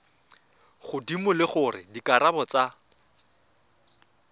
godimo le gore dikarabo tsa